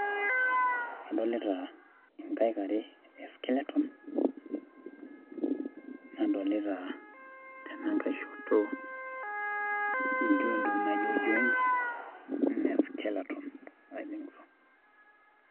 kadolita inkaek are e skeleton, nadolita tenankae shoto intokitin naijo joints, anaa e skeleton adolita.